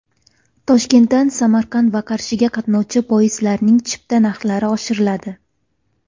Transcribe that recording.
Toshkentdan Samarqand va Qarshiga qatnovchi poyezdlarning chipta narxlari oshiriladi .